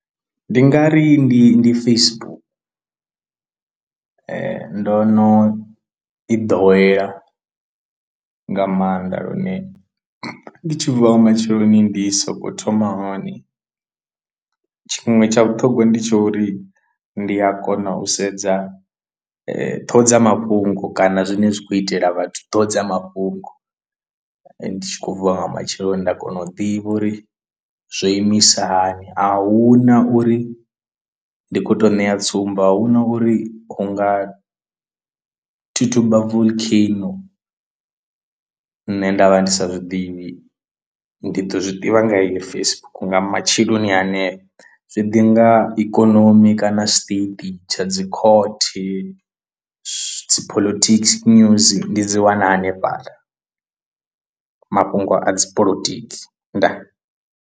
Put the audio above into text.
Ndi nga ri ndi ndi Facebook ndo no i ḓowela nga maanḓa lune ndi tshi vuwa matsheloni ndi sokou thoma hone, tshiṅwe tsha vhuṱhongwa ndi tsha uri ndi a kona u sedza ṱhoho dza mafhungo kana zwine zwi khou itela vhathu ṱhoho dza mafhungo, ndi tshi khou vuwa nga matsheloni nda kona u ḓivha uri zwo imisa hani ahuna uri ndi kho to ṋea tsumbo ahuna uri hunga thuthuba volcano nṋe nda vha ndi sa zwiḓivhi. Ndi ḓo zwiḓivha nga heyo Facebook nga matsheloni hanefha zwi ḓi nga ikonomi kana state tsha dzi court dzi political news ndi dzi wana hanefhaḽa mafhungo a dzi polotiki ndaa!.